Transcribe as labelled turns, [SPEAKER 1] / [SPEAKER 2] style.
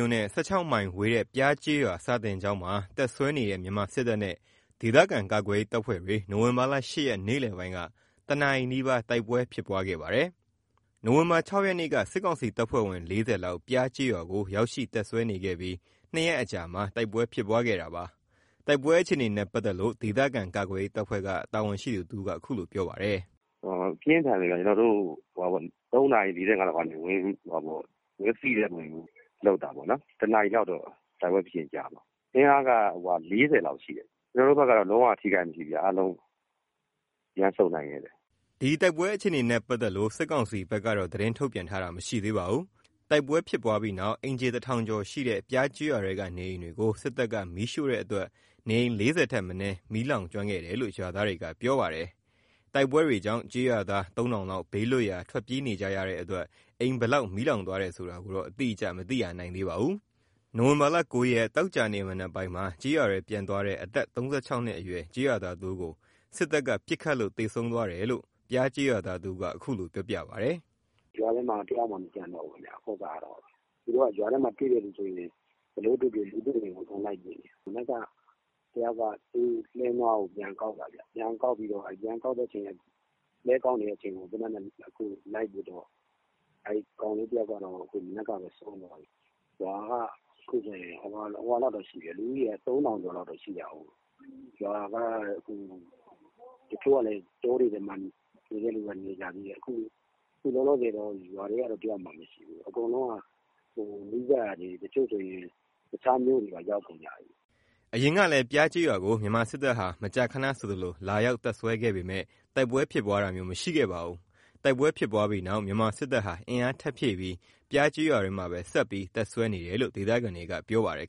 [SPEAKER 1] ို့နဲ့ ၁၆ မိုင်ဝေးတဲ့ ပျားကျေးရွာ စာသင်ကျောင်းမှာ တပ်စွဲနေတဲ့ မြန်မာစစ်တပ်နဲ့ ဒေသခံကာကွယ်ရေးတပ်ဖွဲ့တွေ နိုဝင်ဘာ ၈ ရက် နေ့လယ်ပိုင်းက ၁ နာရီနီးပါး တိုက်ပွဲဖြစ်ပွားခဲ့ပါတယ်။ နိုဝင်ဘာ ၆ ရက်နေ့က စစ်ကောင်စီတပ်ဖွဲ့ဝင် ၄၀ လောက် ပျားကျေးရွာကို ရောက်ရှိ တပ်စွဲနေခဲ့ပြီး ၂ ရက်အကြာမှာ တိုက်ပွဲဖြစ်ပွားခဲ့တာပါ။ တိုက်ပွဲအခြေအနေနဲ့ ပတ်သက်လို့ ဒေသခံကာကွယ်ရေးတပ်ဖွဲ့က တာဝန်ရှိသူတဦးက အခုလိုပြောပါတယ်
[SPEAKER 2] ။ “ပြင်းထန်တယ်ခင်ဗျ။ ကျွန်တော်တို့ ၃ နာရီ ၄၅ လောက်ကနေ ဝင်စီးတဲ့ပုံစံမျိုးလုပ်တာပေါ့နော်။ ၁ နာရီလောက်တော့ တိုက်ပွဲဖြစ်တာကြာမှာ။ အင်အားက ၄၀ လောက်ရှိတယ်။ ကျွန်တော်တို့ဘက်က လုံး၀ ထိခိုက်တာမရှိဘူး အားလုံးပြန်ဆုတ်နိုင်ခဲ့တယ်။
[SPEAKER 1] ” တိုက်ပွဲအခြေနေနဲ့ ပတ်သက်လို့ စစ်ကောင်စီဘက်က သတင်းထုတ်ပြန်တာမရှိသေးပါဘူး။ တိုက်ပွဲဖြစ်ပွားပြီးနောက် အိမ်ခြေ ၁,၀၀၀ ကျော်ရှိတဲ့ ပျားကျေးရွာထဲက နေအိမ်တွေကို စစ်တပ်က မီးရှို့တဲ့အတွက် နေအိမ် ၄၀ ထက်မနည်း မီးလောင်ကျွမ်းခဲ့တယ်လို့ ရွာသားတွေက ပြောပါတယ်။ တိုက်ပွဲတွေကြောင့် ကျေးရွာသား ၃,၀၀၀ လောက် ဘေးလွတ်ရာ ထွက်ပြေးနေကြတဲ့အတွက် အိမ်ဘယ်လောက် မီးလောင်သွားတယ်ဆိုတာ အတိအကျ မသိရသေးပါဘူး။ နိုဝင်ဘာ ၉ ရက် သောကြာနေ့ မနက်ပိုင်းမှာ ကျေးရွာထဲ ပြန်သွားတဲ့ အသက် ၃၆ နှစ်အရွယ် ကျေးရွာသားတဦးကို စစ်တပ်က ပစ်ခတ်လို့ သေဆုံးသွားတယ်လို့ ပျားကျေးရွာသားတဦးက အခုလိုပြောပြပါတယ်။
[SPEAKER 3] “ရွာထဲမှာတယောက်မှမကျန်တော့ဘူး ရွာထဲမှာ တွေ့တဲ့သူဆိုရင် ဘယ်လိုတွေ့တွေ့ လူတွေ့ရင်ကို အကုန်လိုက်ပစ်နေတာ။ မနက်က တယောက်က လှည်းနွားကို ပြန်ကောက်တာခင်ဗျ။ ပြန်ကောက်ပြီးတော့ ပြန်ကောက်တဲ့အချိန် လှည်းကောက်နေတဲ့အချိန်ကို လိုက်ပစ်တော့ မနက်ကဘဲ ကောင်လေးတယောက်က ဆုံးသွားတယ်။ ရွာက အခုဆိုရင် လူဦးရေ ၃,၀၀၀ လောက်ရှိတာကို တချို့က တောတွေထဲနေတဲ့သူက နေကြတယ်။ အခုကရွာထဲမှာ တယောက်မှမရှိတော့ဘူး။ နီးစပ်ရာတွေသွားကြတယ်။ တချို့ဆိုရင် တခြားမြို့တွေကိုပါ ရောက်ကုန်ကြပြီ။”
[SPEAKER 1] အရင်ကလည်း ပျားကျေးရွာကို မြန်မာစစ်တပ်ဟာ မကြာခဏဆိုသလို လာရောက်တပ်စွဲပေမယ့် တိုက်ပွဲဖြစ်ပွားခဲ့တာမျိုး မရှိခဲ့ပါဘူး။ တိုက်ပွဲဖြစ်ပြီးနောက် မြန်မာစစ်တပ်ဟာ အင်အားထပ်ဖြည့်ပြီး ပျားကျေးရွာထဲမှာပဲ ဆက်ပြီး တပ်စွဲနေတယ်လို့ ဒေသခံတွေက ပြောပါတယ်